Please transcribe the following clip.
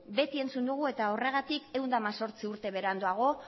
beti entzun dugu eta horregatik ehun eta hemezortzi urte beranduago